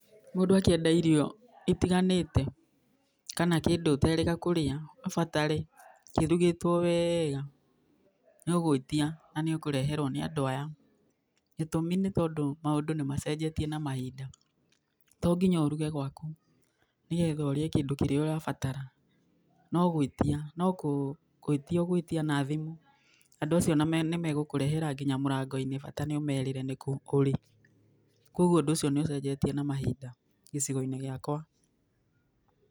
Mũndũ akĩenda irio itiganĩte kana kĩndũ ũterĩga kũrĩa, ũbatare kĩrugĩtwo wega nĩ ũgwĩtia na nĩ ũkũreherwo nĩ andũ aya. Gĩtũmi nĩ tondũ maũndũ nĩ macenjetie na mahinda. To nginya ũruge gwaku nĩ getha ũrĩe kĩndũ kĩrĩa ũrabatara, no gwĩtia, no gwĩtia ũgwĩtia na thimũ. Andũ acio nĩ megũkũrehera nginya mũrango-inĩ bata nĩ ũmerĩre nĩ kũ ũrĩ, kwoguo ũndũ ũcio nĩ ũcenjetie na mahinda gĩcigo-inĩ gĩakwa.